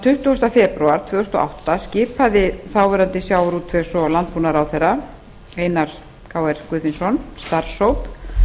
tuttugasta febrúar tvö þúsund og átta skipaði þáverandi sjávarútvegs og landbúnaðarráðherra einar krónu guðfinnsson starfshóp